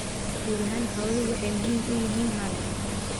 Guud ahaan xooluhu waxay muhiim u yihiin maalka.